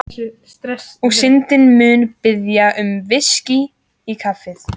Og Syndin mun biðja um VISKÍ í kaffið.